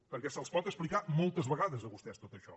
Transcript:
perquè se’ls pot explicar moltes vegades a vostès tot això